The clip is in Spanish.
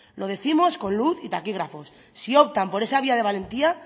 lo décimos con luz y taquígrafos si optan por esa vía de valentía